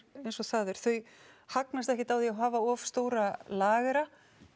eins og það er þau hagnast ekkert á því að hafa of stóra lagera